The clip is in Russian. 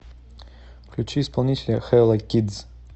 включи исполнителя хэлла кидс